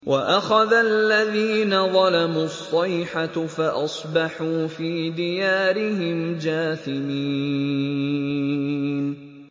وَأَخَذَ الَّذِينَ ظَلَمُوا الصَّيْحَةُ فَأَصْبَحُوا فِي دِيَارِهِمْ جَاثِمِينَ